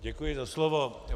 Děkuji za slovo.